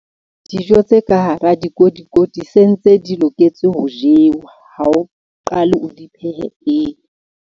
Dijo tse ka hara dikotikoti se ntse di loketse ho jewa ha o qale o di phehe pele.